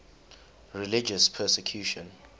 religious persecution